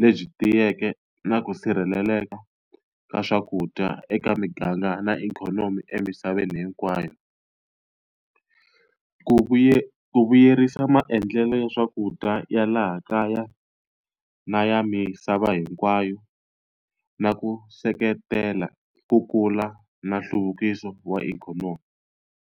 lebyi tiyeke na ku sirheleleka ka swakudya eka miganga na ikhonomi emisaveni hinkwayo. Ku vuyerisa maendlelo ya swakudya ya laha kaya, na ya misava hinkwayo, na ku seketela ku kula na nhluvukiso wa ikhonomi.